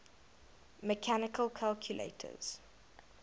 mechanical calculators